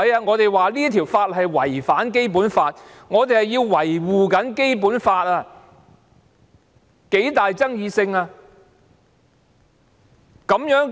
我們指出該項法例違反《基本法》，我們正在維護《基本法》，那是極具爭議的議題。